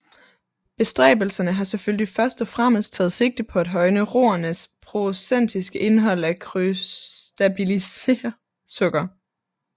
Bestræbelserne har selvfølgelig først og fremmest taget sigte på at højne roernes procentiske indhold af krystallisabelt sukker